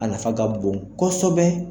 A nafa ka bon kɔsɔbɛ.